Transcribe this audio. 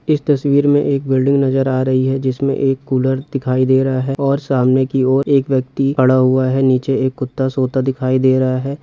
इस तस्वीर में एक बिल्डिंग नजर आ रही है जिसमें एक कूलर दिखाई दे रहा है और सामने की ओर एक व्यक्ति खड़ा हुआ है नीचे एक कुत्ता सोता दिखाई दे रहा हैं।